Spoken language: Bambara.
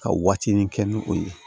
Ka waatinin kɛ ni o ye